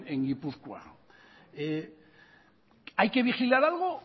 en gipuzkoa hay qué vigilar algo